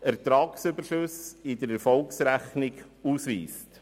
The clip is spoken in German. Ertragsüberschüsse in der Erfolgsrechnung ausweist.